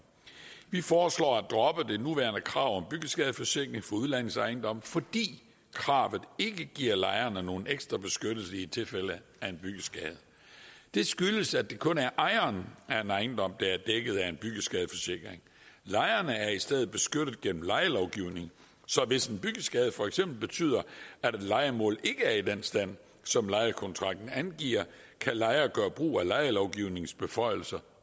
vi foreslår at droppe det nuværende krav om byggeskadeforsikring for udlejningsejendomme fordi kravet ikke giver lejerne nogen ekstra beskyttelse i tilfælde af en byggeskade det skyldes at det kun er ejeren af en ejendom der er dækket af en byggeskadeforsikring lejerne er i stedet beskyttet gennem lejelovgivningen så hvis en byggeskade for eksempel betyder at et lejemål ikke er i den stand som lejekontrakten angiver kan lejer gøre brug af lejelovgivningens beføjelser